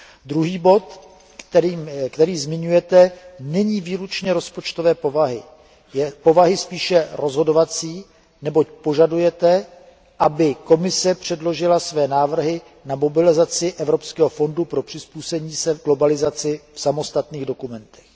Druhý bod, který zmiňujete, není výlučně rozpočtové povahy, je povahy spíše rozhodovací, neboť požadujete, aby Komise předložila své návrhy na mobilizaci Evropského fondu pro přizpůsobení se globalizaci v samostatných dokumentech.